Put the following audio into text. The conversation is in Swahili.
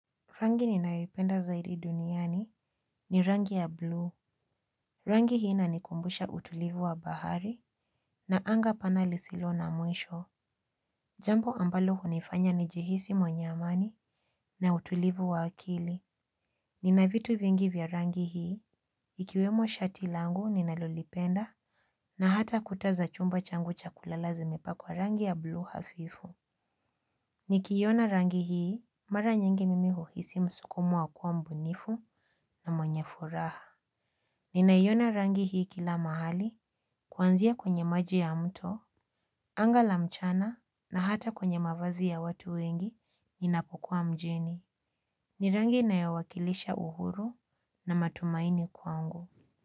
Rangi ninayoipenda zaidi duniani ni rangi ya buluu. Rangi hii ina nikumbusha utulivu wa bahari na anga pana lisilo na mwisho. Jambo ambalo hunifanya nijihisi mwenye amani na utulivu wa akili. Nina vitu vingi vya rangi hii ikiwemo shati langu ninalolipenda na hata kuta za chumba changu chakulala zimepakwa rangi ya buluu hafifu. Nikiona rangi hii mara nyingi mimi huhisi msukumo wakuwa mbunifu na mwenye furaha. Ninaiona rangi hii kila mahali. Kwanzia kwenye maji ya mto anga la mchana na hata kwenye mavazi ya watu wengi ninapokuwa mjini. Nirangi inayowakilisha uhuru na matumaini kwangu.